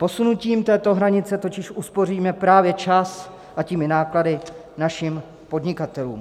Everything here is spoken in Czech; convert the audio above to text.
Posunutím této hranice totiž uspoříme právě čas, a tím i náklady našim podnikatelům.